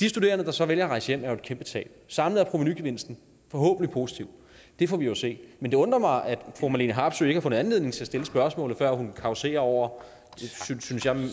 de studerende der så vælger at rejse hjem er jo et kæmpe tab samlet er provenugevinsten forhåbentlig positiv det får vi jo at se men det undrer mig at fru marlene harpsøe ikke har fundet anledning til at stille spørgsmålet før hun causerer over synes jeg